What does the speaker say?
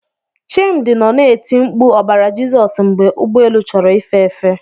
Chimdi nọ na-eti mkpu ọbara Jizọs mgbe ụgbọ elu chọrọ ife efe.